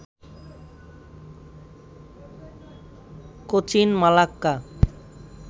Cochin, Malacca